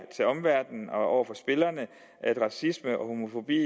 til omverdenen og over for spillerne at racisme og homofobi i